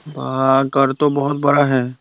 घर तो बहुत बड़ा है।